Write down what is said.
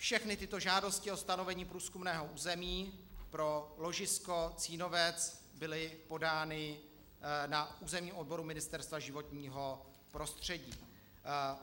Všechny tyto žádosti o stanovení průzkumného území pro ložisko Cínovec byly podány na územním odboru Ministerstva životního prostředí.